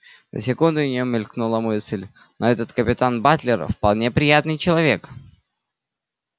на секунду у нёе мелькнула мысль но этот капитан батлер вполне приятный человек